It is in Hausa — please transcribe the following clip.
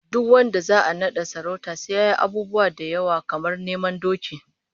Duk wanda za'a nada sarauta sai yayi abubuwa da yawa, kamar neman doki